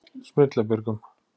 Smyrlabjörgum